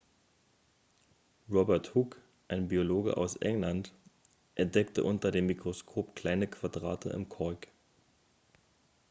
robert hooke ein biologe aus england entdeckte unter dem mikroskop kleine quadrate im kork